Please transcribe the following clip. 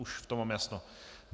Už v tom mám jasno.